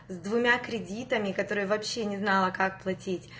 с двумя кредитами которые вообще не знала как платить